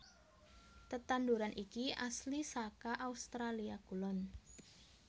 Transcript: Tetandhuran iki asli saka Australia Kulon